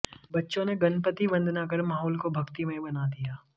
बच्चों ने गणपति वंदना कर माहौल को भक्तिमय बना दिया